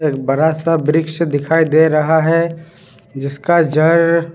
एक बड़ा सा वृक्ष दिखाई दे रहा है जिसका जड़--